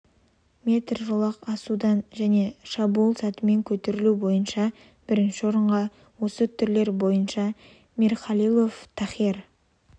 метр жолақтан асудан және шабуыл сатымен көтерілу бойынша бірінші орынға осы түрлері бойынша мирхалилов тахир